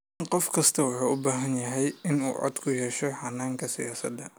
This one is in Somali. Qof kastaa wuxuu u baahday inuu cod ku yeesho hannaanka siyaasadda.